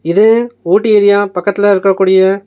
இது ஊட்டி ஏரியா பக்கத்துல இருக்க கூடிய--